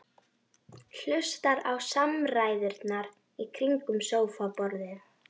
Hlustar á samræðurnar í kringum sófaborðið.